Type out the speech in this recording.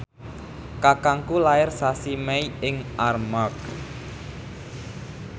kakangku lair sasi Mei ing Armargh